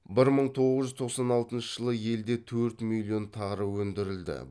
бір мың тоғыз жүз тоқсан алтыншы жылы елде төрт миллион тонна тары өндірілді